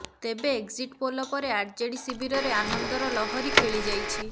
ତେବେ exit poll ପରେ RJD ଶିବିରରେ ଆନନ୍ଦର ଲହରୀ ଖେଳି ଯାଇଛି